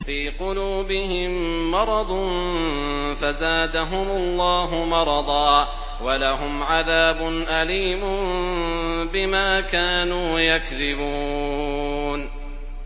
فِي قُلُوبِهِم مَّرَضٌ فَزَادَهُمُ اللَّهُ مَرَضًا ۖ وَلَهُمْ عَذَابٌ أَلِيمٌ بِمَا كَانُوا يَكْذِبُونَ